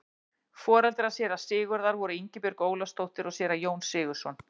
foreldrar séra sigurðar voru ingibjörg ólafsdóttir og séra jón sigurðsson